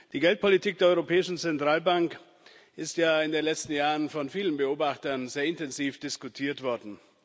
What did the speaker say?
Die Geldpolitik der Europäischen Zentralbank ist ja in den letzten Jahren von vielen Beobachtern sehr intensiv diskutiert worden.